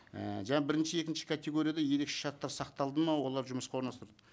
ііі жаңа бірінші екінші категорияда ерекше шарттар сақталды ма олар жұмысқа орналастырды